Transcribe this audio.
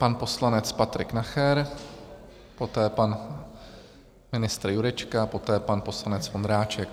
Pan poslanec Patrik Nacher, poté pan ministr Jurečka, poté pan poslanec Vondráček.